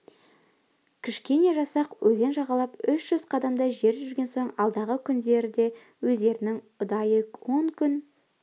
кішкене жасақ өзен жағалап үш жүз қадамдай жер жүрген соң алдағы күндерде өздерінің ұдайы он күн